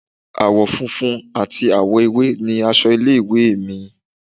Àwọ̀ funfun ati àwọ̀ ewé ni aṣọ ilé ìwé è mi